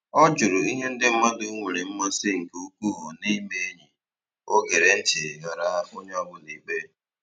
Ọ jụrụ ihe ndị mmadụ nwere mmasị nke ukwuu na-ime enyi, o gere ntị ghara onye ọ bụla ikpe